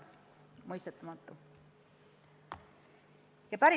Mõistetamatu!